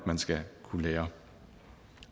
man skal kunne lære